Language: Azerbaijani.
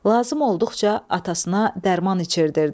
Lazım olduqca atasına dərman içirdirdi.